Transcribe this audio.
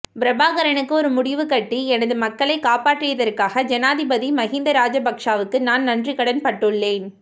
பிரபாகரனுக்கு ஒரு முடிவுகட்டி எனது மக்களைக் காப்பாற்றியதற்காக ஜனாதிபதி மகிந்த ராஜபக்ஸவுக்கு நான் நன்றிக்கடன் பட்டுள்ளேன்